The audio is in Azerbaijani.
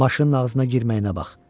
Maşının ağzına girməyinə bax.